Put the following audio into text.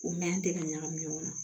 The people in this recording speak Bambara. O mɛn tɛ ka ɲagami ɲɔgɔn na